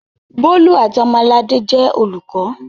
Bólú àti Ọmọladé jẹ́ olùkọ́.